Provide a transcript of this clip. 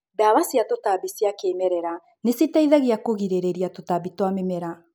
Ndawa cia tũtambia cia kĩmerera nĩciteithagia kũgirĩria tũtambi twa mĩmera.